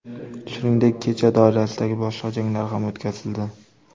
Shuningdek, kecha doirasidagi boshqa janglar ham o‘tkazildi.